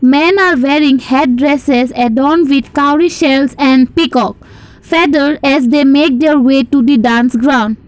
men are wearing red dresses indon't recovery sales and peacock feather as they make their way to the dance ground.